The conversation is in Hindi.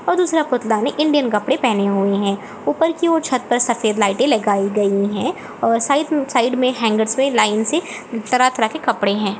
और दूसरा पुतला ने इंडियन कपड़े पहने हुए हैं ऊपर की ओर छत पर सफेद लाइटें लगाई गई है और साइड साइड में हैंगअर पे लाइन से तरह -तरह के कपड़े हैं।